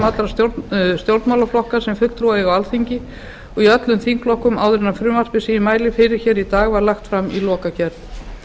allra stjórnmálaflokka sem fulltrúa eiga á alþingi og í öllum þingflokkum áður en frumvarpið sem ég mæli fyrir hér í dag var lagt fram í lokagerð